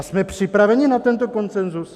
A jsme připraveni na tento konsenzus?